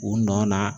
U nɔ na